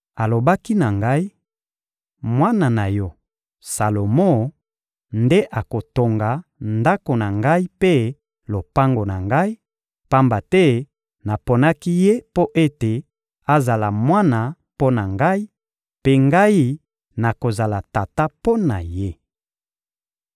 Alobaki na ngai: «Mwana na yo, Salomo, nde akotonga Ndako na Ngai mpe lopango na Ngai, pamba te naponaki ye mpo ete azala mwana mpo na Ngai, mpe Ngai nakozala tata mpo na ye.